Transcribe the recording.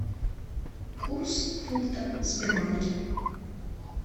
курс фунта в сбербанке